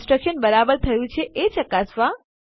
construction રચના બરાબર થયું છે એ ચકાસવા